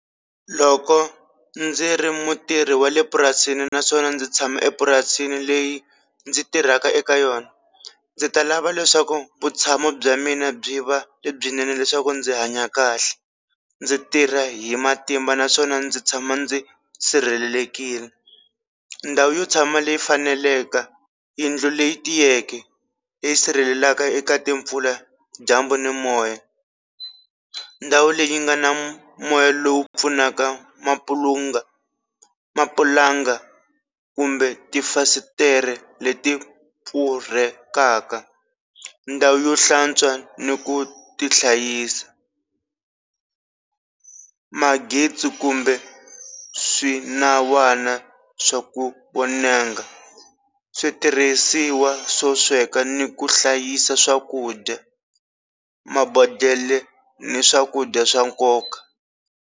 Loko ndzi ri mutirhi wa le purasini naswona ndzi tshama epurasini leyi ndzi tirhaka eka yona, ndzi ta lava leswaku vutshamo bya mina byi va lebyinene leswaku ndzi hanya kahle ndzi tirha hi matimba naswona ndzi tshama ndzi sirhelelekile, ndhawu yo tshama leyi faneleke yindlu leyi tiyeke leyi sirhelelaka eka timpfula, dyambu, ni moya ndhawu leyi nga na moya lowu pfunaka mapulunga mapulanga kumbe tifasitere leti pfurhekaka, ndhawu yo hlantswa ni ku ti hlayisa, magezi kumbe swinawana swa ku vonanga switirhisiwa swo sweka ni ku hlayisa swakudya, mabodhlele ni swakudya swa nkoka.